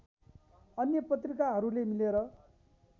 अन्य पत्रिकाहरूले मिलेर